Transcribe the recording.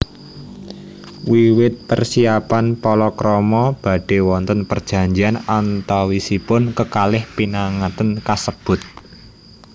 Wiwit persiapan palakrama badhe wonten perjanjian antawisipun kekalih pinanganten kasebut